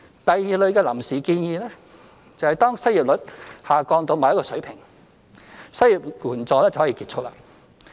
第二類的"臨時"建議，是當失業率下降至某一個水平，失業援助便可結束。